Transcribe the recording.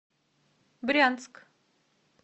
брянск